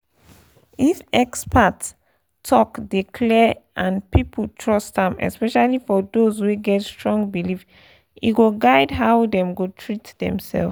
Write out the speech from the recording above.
if expert talk dey clear and people trust am especially for those wey get strong belief e go guide how dem go treat demself.